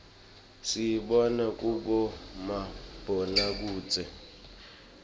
siyibona kubomabonakudze